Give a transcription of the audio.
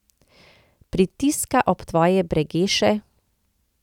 Pritiska ob tvoje bregeše?